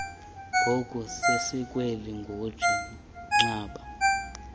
ngokusesikweni ngutsii gxada